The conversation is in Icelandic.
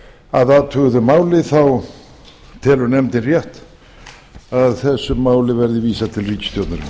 að athuguðu máli þá telur nefndin rétt að þessu máli verði vísað til ríkisstjórnarinnar